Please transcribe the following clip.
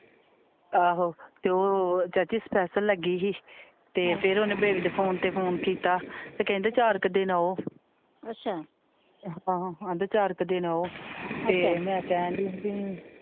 ਆਹੋ ਤੇ ਉਹ ਚਾਚੀ ਸਪੈਸ਼ਲ ਲੱਗੀ ਹੀ ਤੇ ਫਿਰ ਓਹਨੇ ਬੇਬੀ ਦੇ ਫੋਨ ਤੇ ਫੋਨ ਕੀਤਾ ਤੇ ਕਹਿੰਦੇ ਚਾਰ ਕ ਦਿਨ ਆਓ ਆਹੋ ਕਹਿੰਦੇ ਚਾਰ ਕ ਦਿਨ ਆਓ ਤੇ ਮੈ ਕਹਿਣ ਦੀ ਹੀ ਪੀ।